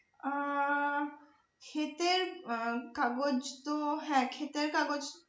আহ ক্ষেতের আহ কাগজ তো হ্যাঁ ক্ষেতের কাগজ